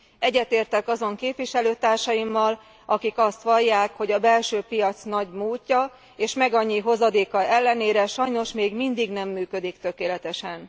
Egyetértek azon képviselőtársaimmal, akik azt vallják, hogy a belső piac nagy múltja és megannyi hozadéka ellenére sajnos még mindig nem működik tökéletesen.